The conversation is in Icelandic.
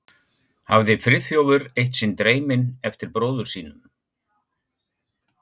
hafði Friðþjófur eitt sinn dreyminn eftir bróður sínum.